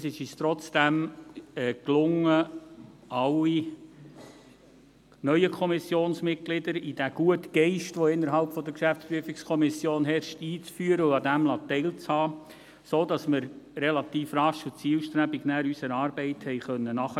Trotzdem gelang es uns, alle neuen Kommissionsmitglieder in den guten Geist, der innerhalb der GPK vorherrscht, einzuführen und daran teilhaben zu lassen, sodass wir unserer Arbeit dann relativ rasch und zielstrebig nachgehen konnten.